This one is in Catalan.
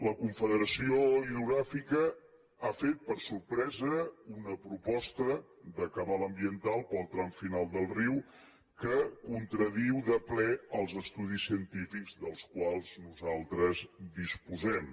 la confederació hidrogràfica ha fet per sorpresa una proposta de cabal ambiental per al tram final del riu que contradiu de ple els estudis científics dels quals nosaltres disposem